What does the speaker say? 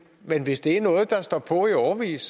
men hvis det er noget der står på i årevis